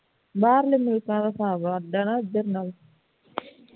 ਬਾਹਰਲੇ ਮੁਲਕਾਂ ਦਾ ਹਿਸਾਬ ਅੱਡ ਹੈ ਨਾ ਇਧਰ ਨਾਲੋਂ